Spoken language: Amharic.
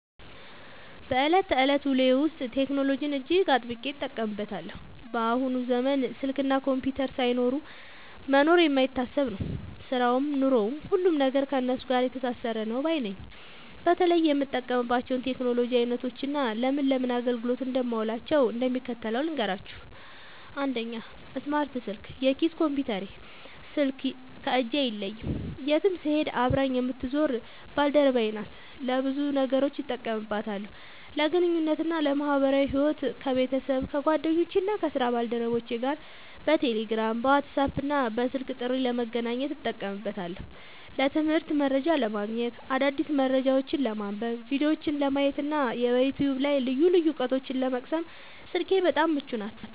በዕለት ተዕለት ውሎዬ ውስጥ ቴክኖሎጂን እጅግ አጥብቄ እጠቀምበታለሁ። በአሁኑ ዘመን ስልክና ኮምፒውተር ሳይኖሩ መኖር የማይታሰብ ነው፤ ሥራውም ኑሮውም፣ ሁሉም ነገር ከእነሱ ጋር የተሳሰረ ነው ባይ ነኝ። በተለይ የምጠቀምባቸውን የቴክኖሎጂ ዓይነቶችና ለምን ለምን አገልግሎት እንደማውላቸው እንደሚከተለው ልንገራችሁ፦ 1. ስማርት ስልክ (የኪስ ኮምፒውተሬ) ስልክ ከእጄ አይለይም፤ የትም ስሄድ አብራኝ የምትዞር ባልደረባዬ ናት። ለብዙ ነገሮች እጠቀምባታለሁ፦ ለግንኙነትና ለማኅበራዊ ሕይወት፦ ከቤተሰብ፣ ከጓደኞቼና ከሥራ ባልደረቦቼ ጋር በቴሌግራም፣ በዋትስአፕና በስልክ ጥሪ ለመገናኘት እጠቀምበታለሁ። ለትምህርትና መረጃ ለማግኘት፦ አዳዲስ መረጃዎችን ለማንበብ፣ ቪዲዮዎችን ለማየትና በዩቲዩብ ላይ ልዩ ልዩ ዕውቀቶችን ለመቅሰም ስልኬ በጣም ምቹ ናት።